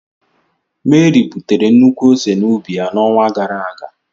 Mary butere nnukwu ose n'ubi ya n'onwa gara aga.